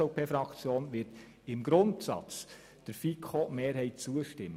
Die SVP-Fraktion wird im Grundsatz der FiKo-Mehrheit zustimmen.